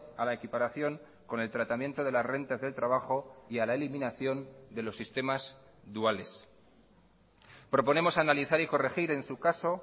a la equiparación con el tratamiento de las rentas del trabajo y a la eliminación de los sistemas duales proponemos analizar y corregir en su caso